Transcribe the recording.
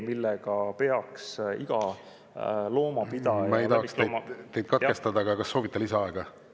Ma ei tahaks teid katkestada, aga kas soovite lisaaega?